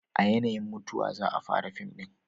a yanayin mutuwa za a fara fim din